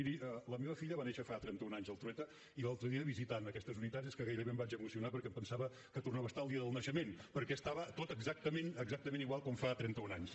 miri la meva filla va néixer fa trenta un anys al trueta i l’altre dia visitant aquestes unitats és que gairebé em vaig emocionar perquè em pensava que tornava a estar al dia del naixement perquè estava tot exactament exactament igual com fa trenta un anys